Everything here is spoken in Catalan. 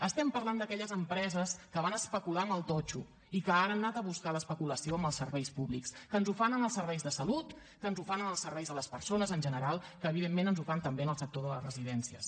estem parlant d’aquelles empreses que van especular amb el totxo i que ara han anat a buscar l’especulació amb els serveis públics que ens ho fan en els serveis de salut que ens ho fan en els serveis a les persones en general i que evidentment ens ho fan també en el sector de les residències